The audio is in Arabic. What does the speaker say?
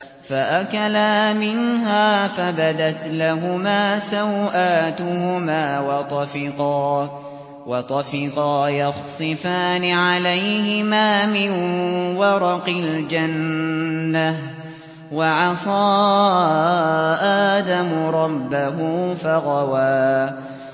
فَأَكَلَا مِنْهَا فَبَدَتْ لَهُمَا سَوْآتُهُمَا وَطَفِقَا يَخْصِفَانِ عَلَيْهِمَا مِن وَرَقِ الْجَنَّةِ ۚ وَعَصَىٰ آدَمُ رَبَّهُ فَغَوَىٰ